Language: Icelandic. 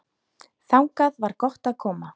Þangað var gott að koma.